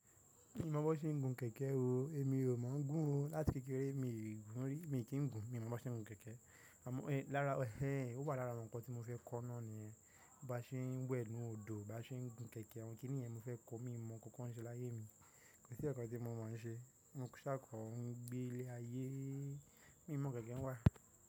Mi ò mọ bó ṣe ń gun kẹ̀kẹ́ o. Èmi ò mọ ń gún o. Láti kékeré mi gun ri mi kí ń gun. Mi ò mọ bó ṣe ń gun kẹ̀kẹ́. Ò wà lára àwọn ǹkan tí mo fẹ́ kọ́ náà nìyẹn. Bí a ṣe ń wẹ̀ lórí odò, bí a ṣe ń gun kẹ̀kẹ́, àwọn kí nìyẹn mo fẹ́ kọ́. Mi ò mọ ohunkóhun sí láyé mi. Kò sí ẹ̀ẹ̀kan tí mo mọ̀ ń ṣe. Mo ń ṣákọ́, ń gbé ilé ayé. Mi mọ̀ kẹ̀kẹ́ ń wá.